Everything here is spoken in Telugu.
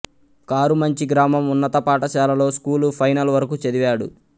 కారుమంచి గ్రామం ఉన్నత పాఠశాలలో స్కూలు ఫైనల్ వరకు చదివాడు